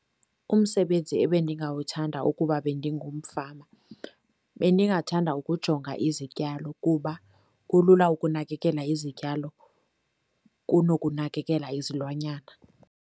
Umsebenzi ebendingawuthanda ukuba bendingumfama bendingathanda ukujonga izityalo kuba kulula ukunakekela izityalo kunokunakekela izilwanyana.